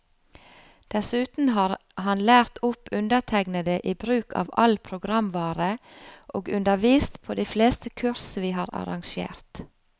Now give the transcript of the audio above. Dessuten har han lært opp undertegnede i bruk av all programvare, og undervist på de fleste kurs vi har arrangert.